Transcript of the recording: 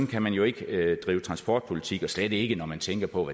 kan man jo ikke drive transportpolitik og slet ikke når man tænker på